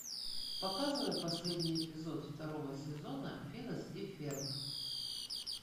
показывай последний эпизод второго сезона финес и ферб